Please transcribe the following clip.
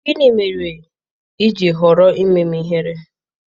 Gịnị mere i ji họrọ ime m ihere?